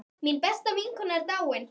Mín besta vinkona er dáin.